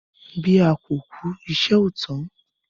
Bí a kò kú, ìṣe ò tán.